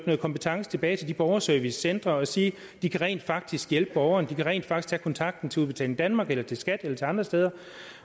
noget kompetence tilbage til de borgerservicecentre og sige at de rent faktisk kan hjælpe borgerne at de rent faktisk kontakt til udbetaling danmark eller til skat eller til andre steder